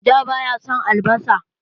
Da ba ya son albasa.